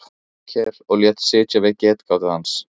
Þórkel og lét sitja við getgátu hans.